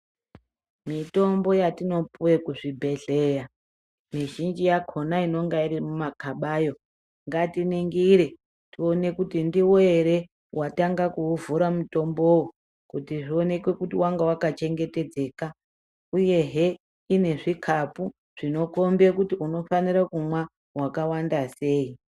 Mitombo yatinopuwa kuzvibhedhlera mizhinji yakhona inenge iri mumakabayo ngatiningire tione kuti ndiwe ere watanga kuuvhura mutombowo kuti zvionekwe kuti wanga wakachengetedzeka uyehe une zvikapu zvinokhombe kuti kunofanire kumwa wakawanda sei.